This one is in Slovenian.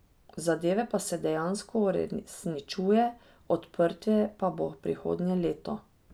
Zadeve pa se dejansko uresničuje, odprtje pa bo prihodnje leto.